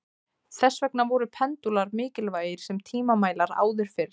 Þess vegna voru pendúlar mikilvægir sem tímamælar áður fyrr.